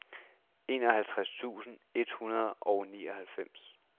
enoghalvtreds tusind et hundrede og nioghalvfems